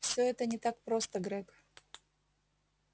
всё это не так просто грег